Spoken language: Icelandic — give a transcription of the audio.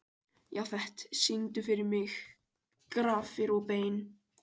Jafet, syngdu fyrir mig „Grafir og bein“.